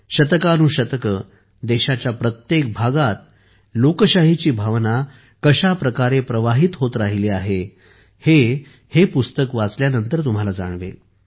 शतकानुशतके देशाच्या प्रत्येक भागात लोकशाहीची भावना कशा प्रकारे प्रवाहित होत राहिली आहे हे हे पुस्तक वाचल्यानंतर तुम्हाला जाणवेल